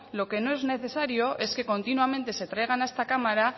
lo que no es necesario es que continuamente se traigan a esta cámara